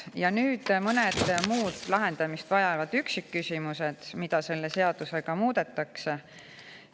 Ja nüüd mõned muud lahendamist vajavad üksikküsimused, mida selles.